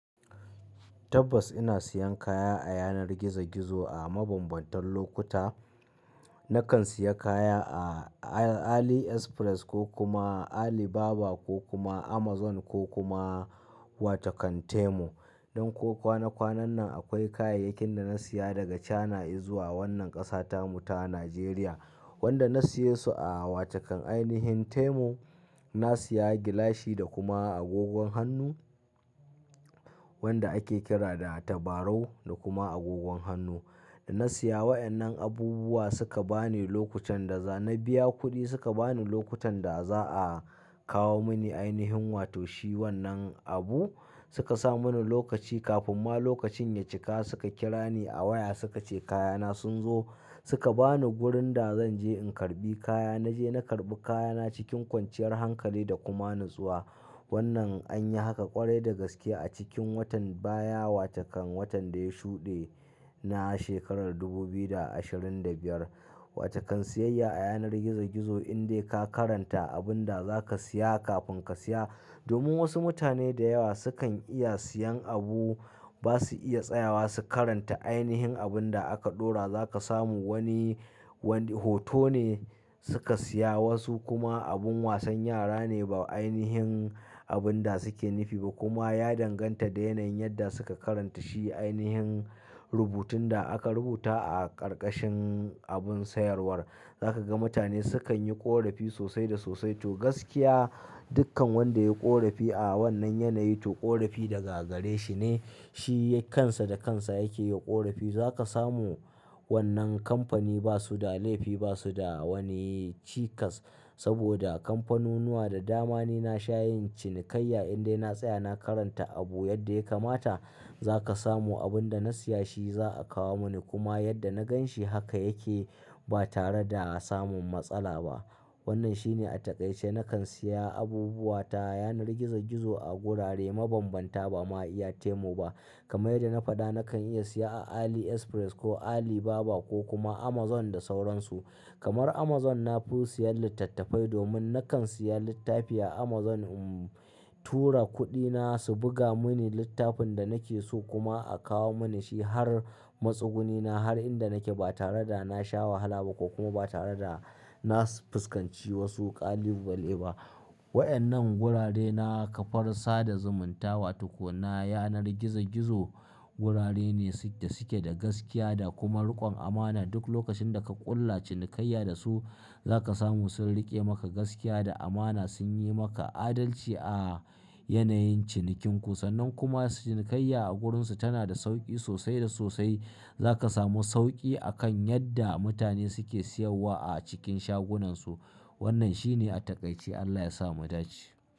Tabbas ina siyan kaya a yanar gizo gizo a mabambantan lokuta. Nakan siya kaya a Ali Express ko kuma Alibaba ko kuma Amazon ko kuma wata kan Temu. Don ko kwana kwanan nan akwai kayayyakin da na siya daga China izuwa wannan ƙasa ta mu ta Najeriya. Wanda na siye su a wata kan ainihin Temu. Na siya gilashi da kuma agogon hannu wanda ake kira da tabarau da kuma agogon hannu. Da na siya wa'annan abubuwa suka bani lokutan da za na biya kuɗi, suka bani lokutan da za'a kawo mani ainihin wato shi wannan abu. Suka sa mani lokaci kafin ma lokacin ya cika suka kira ni a waya suka ce kaya na sun zo. Suka bani wurin da zan je in karɓi kaya. Na je na karɓi kaya na cikin kwanciyar hankali da kuma natsuwa. Wannan an yi haka ƙwarai da gaske a cikin watan baya, wata kan watan da ya shuɗe na shekarar dubu biyu da ashirin da biyar. Wata kan siyayya a yanar gizo gizo indai ka karanta abun da za ka siya kafin ka siya. Domin wasu mutane da yawa sukan iya siyan abu ba su iya tsayawa su karanta ainihin abun da aka ɗora. Za ka samu wani, wani hoto ne suka siya wasu kuma abun wasan yara ne ba ainihin abun da suke nifi ba. Kuma ya danganta da yanayin yadda suka karanta shi ainihin rubutun da aka rubuta a ƙarƙashin abun sayarwar. Za ka ga mutane sukan yi ƙorafi sosai da sosai. To gaskiya dukkan wanda ya yi ƙorafi a wannan yanayi to ƙorafi daga gare shi ne. Shi kan sa da kan sa yake yi wa ƙorafi. Za ka samu wannan kamfani ba su da laifi, ba su da wani cikas. Saboda kamfanunuwa da dama ne na shayin cinikayya indai na tsaya na karanta abu yadda ya kamata. Za ka samu abun da na siya shi za'a kawo mani kuma yadda na ganshi haka yake ba tare da samun matsala ba. Wannan shi ne a takaice. Nakan siya abubuwa ta yanar gizo gizo a gurare mabambanta ba ma iya temu ba. Kamar yadda na faɗa nakan iya siya a Ali Express ko Alibaba ko kuma Amazon da sauransu. Kamar Amazon na fi siyan littattafai domin nakan siya littafi a Amazon, uhm tura kuɗi na su buga muni littafin da nake so kuma a kawo mani shi har matsuguni na har inda nake ba tare da na sha wahala ba ko kuma ba tare da na fuskanci wasu ƙalubale ba. Wa'annan gurare na kafar sada zumunta wa tukuna yanar gizo gizo gurare ne suke, da suke da gaskiya da kuma riƙon amana. Duk lokacin da ka ƙulla cinikayya da su za ka samu sun riƙe maka gaskiya da amana, sun yi maka adalci a yanayin cinikin ku. Sannan kuma cinikayya a gurin su tana da sauƙi sosai da sosai. Za ka samu sauƙi akan yadda mutane suke siyawwa a cikin shagunan su. Wannan shi ne a takaice. Allah ya sa mu dace.